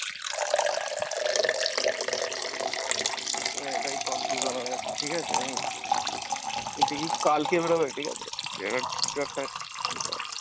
এবার এটাই confusion হয়ে যাচ্ছে ঠিকাছে উম কালকে বেরোবে ঠিকাছে